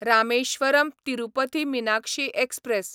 Rameswaram Tirupati Meenakshi express